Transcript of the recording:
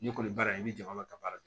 Ne kɔni baara in i bɛ jama ka baara kɛ